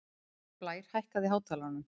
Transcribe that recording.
Blær, hækkaðu í hátalaranum.